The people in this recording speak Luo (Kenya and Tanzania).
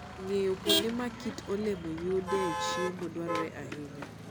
Ng'eyo kuonde ma kit alode yudoe chiemo dwarore ahinya.